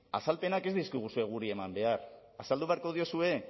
azalpenak ez dizkiguzue guri eman behar azaldu beharko diezue